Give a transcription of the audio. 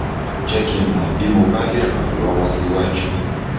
jẹ́ kí n mọ́ bí mo bá le ràn ọ́ lọ́wọ́ síwájú